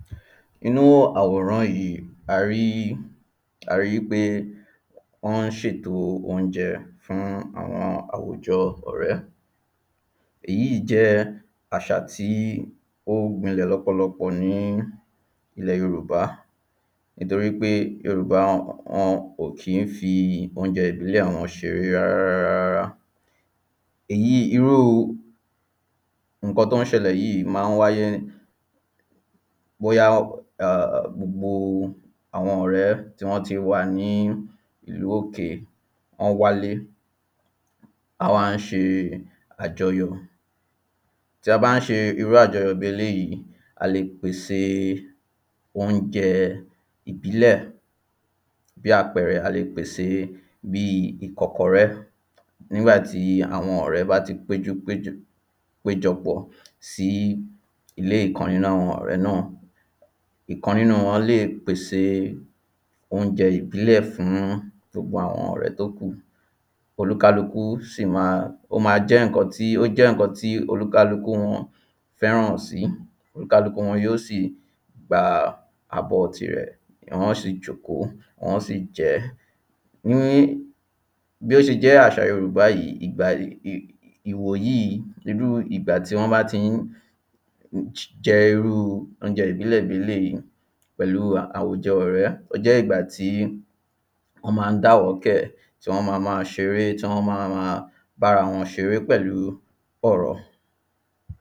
nínu àwòran yìí a ríi wípé wọ́n ń ṣèto óúnjẹ fún àwọn àwùjọ ọ̀rẹ́ èyí jẹ́ àṣà tí ó gbilẹ̀ lọ́pọ̀lọpọ̀ ní ilẹ̀ Yorùbá, nítorí pé Yorùbá, wọn kò ki ń fi óúnjẹ ìbílẹ̀ wọn ṣeré rárárárá irú ǹkan tó ń ṣẹlẹ̀ yìí ma ń wáyé, bóyá gbogbo àwọn ọ̀rẹ́ tí wọ́n ti wà ní ìlú òkè, wọ́n wálé wọ́n wá ṣe àjọyọ̀, tí a bá ṣe irú àjọyọ̀ bi eléyìí, a lè pèse óúnjẹ ìbílẹ̀ bí àpẹrẹ, a lè pèse bíi ìkọkọrẹ́, nígbàtí àwọn ọ̀rẹ́ bá ti péjú jọpọ̀ sí ilé ìkan nínu àwọn ọ̀rẹ́ náà ìkan nínu wọ́n lè pèse óúnjẹ ìbílẹ̀ fún gbogbo àwọn ọ̀rẹ́ tí ó kù, ó máa jẹ́ ìkan tí oníkálukú wọ́n fẹ́ràn sí kálukú yóò sì gba abọ́ tirẹ̀, wọ́n sì jókòó, wọ́n ó sì jẹẹ́ ní bí ó ṣe jẹ́ àṣà Yorùbá yìí, ìwòyìí irú ìgbàtí wọ́n bá ti jẹ irú óúnjẹ ìbílẹ̀ yìí pẹ̀lu àwùjọ ọ̀rẹ́ ó jẹ́ ìgbàtí wọ́n ma ń dàwọ́kẹ̀, tí wọ́n máa máa ṣeré, tí wọ́n máa máa bá ara wọn ṣeré pẹ̀lú ọ̀rọ̀